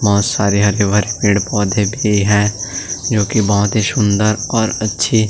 बहोत सारे हरे-भरे पेड़-पौधे भी है जो कि बहोत ही सुंदर और अच्छे--